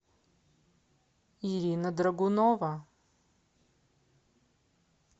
ирина драгунова